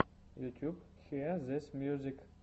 ютьюб хиэ зис мьюзик